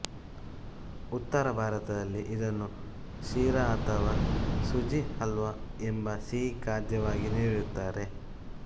ಉತ್ತರ ಭಾರತದಲ್ಲಿ ಇದನ್ನು ಶೀರಾ ಅಥವಾ ಸುಜಿ ಹಲ್ವಾ ಎಂಬ ಸಿಹಿ ಖಾದ್ಯವಾಗಿ ನೀಡುತ್ತಾರೆ